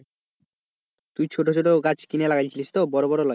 তুই ছোটো ছোটো গাছ কিনে লাগাই ছিলিস তো বড়ো বড় লয়